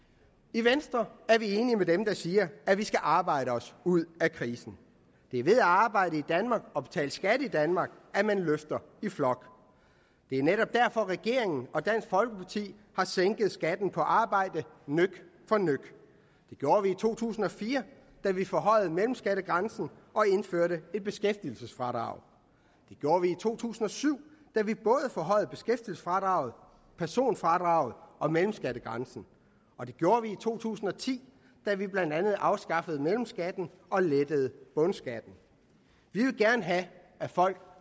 i venstre er vi enige med dem der siger at vi skal arbejde os ud af krisen det er ved at arbejde i danmark og betale skat i danmark at man løfter i flok det er netop derfor regeringen og dansk folkeparti har sænket skatten på arbejde nøk for nøk det gjorde vi i to tusind og fire da vi forhøjede mellemskattegrænsen og indførte et beskæftigelsesfradrag det gjorde vi i to tusind og syv da vi både forhøjede beskæftigelsesfradraget personfradraget og mellemskattegrænsen og det gjorde vi i to tusind og ti da vi blandt andet afskaffede mellemskatten og lettede bundskatten vi vil gerne have at folk